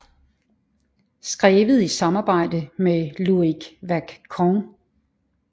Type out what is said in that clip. Skrevet i samarbejde med Loïc Wacquant